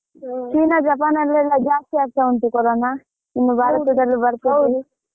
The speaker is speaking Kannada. ಚೀನಾ ಜಪಾನಲ್ಲೆಲ್ಲಾ ಜಾಸ್ತಿ ಆಗ್ತಾ ಉಂಟು ಕೊರೋನ